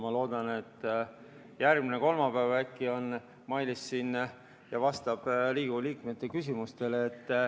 Ma loodan, et järgmisel kolmapäeval äkki on Mailis siin ja vastab Riigikogu liikmete küsimustele.